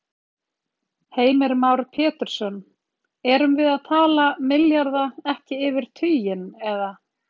Heimir Már Pétursson: Erum við að tala milljarða, ekki yfir tuginn, eða?